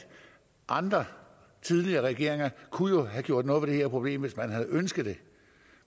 andre tidligere regeringer jo kunne have gjort noget ved det her problem hvis man havde ønsket det